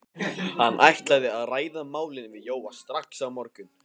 Hann ætlaði að ræða málin við Jóa strax á morgun.